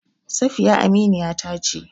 Safiya aminiya ta ce.